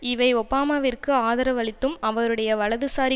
இவை ஒபாமாவிற்கு ஆதரவளித்தும் அவருடைய வலதுசாரி